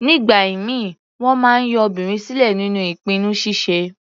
Nígbà ìmíì, wọ́n máa ń yọ obìnrin sílẹ̀ nínú ìpinnu ṣíṣe.